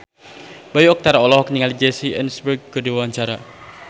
Bayu Octara olohok ningali Jesse Eisenberg keur diwawancara